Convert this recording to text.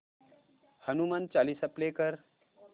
Hanuman Chalisa play कर